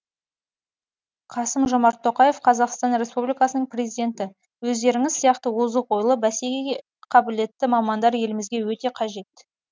қасым жомарт тоқаев қазақстан ресупбликасының президенті өздеріңіз сияқты озық ойлы бәсекеге қабілетті мамандар елімізге өте қажет